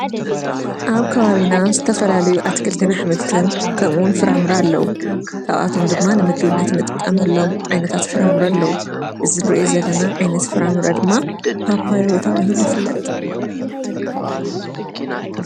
ኣብ ካባቢና ዝተፈላልዩ ኣትክልቲን ኣሕምልትን ከምኡውን ፍራምረ ኣለዉ ካብኣቶም ድማ ንምግብነት ንጥቀመሎም ዓይነታት ፍራምረ ኣለዉ እዚ ንርእዮ ዘለና ዓይነት ፍራምረ ድማ ጳጳየ ተባሂሉ ይፍለጥ